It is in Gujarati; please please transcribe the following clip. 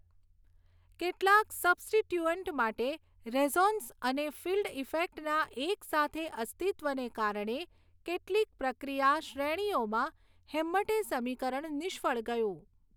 કેટલાક સબ્સ્ટિટયૂઅન્ટ માટે રેઝોનન્સ અને ફિલ્ડ ઇફેક્ટના એકસાથે અસ્તિત્વને કારણે કેટલીક પ્રક્રિયા શ્રેણીઓમાં હેમ્મટે સમીકરણ નિષ્ફળ ગયું.